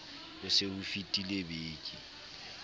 ho se ho fetile beke